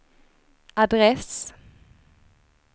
adress